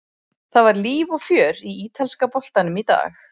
Það var líf og fjör í ítalska boltanum í dag.